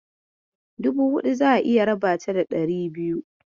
Dubu huɗu, za'a iya raba ta da ɗari biyu.